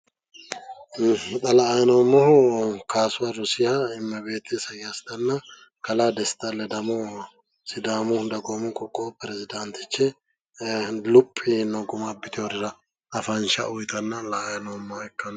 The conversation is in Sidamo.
Xa la"ayi noommohu kaasuha rosiha, immebeeti isayyaasitanna kalaa desta ledamo sidaamu dagoomu qoqqowi perezdaantichi luphi yiino guma abbitinorira afansha uyitanna la"ayi noommoha ikkanno.